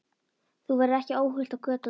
Þú verður ekki óhult á götunum.